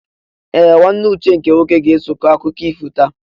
Ee! Nwanne Uche nke nwoke ga-eso kọọ akụkọ ifo taa.